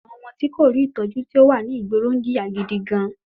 Àwọn ọmọ tí kò rí Ìtọ́jú tí ò wà ní ìgboro ń jìyà gidi gan-an